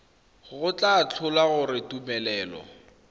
go tla tlhola gore tumelelo